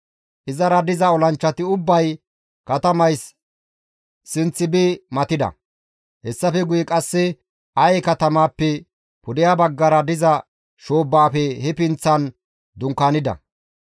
Izara diza olanchchati ubbay katamays sinth bi matida; hessafe guye qasse Aye katamaappe pudeha baggara diza shoobbaafe he pinththan dunkaanida.